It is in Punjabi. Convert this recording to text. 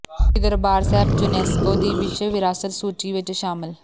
ਸ੍ਰੀ ਦਰਬਾਰ ਸਾਹਿਬ ਯੂਨੈਸਕੋ ਦੀ ਵਿਸ਼ਵ ਵਿਰਾਸਤ ਸੂਚੀ ਚ ਸ਼ਾਮਲ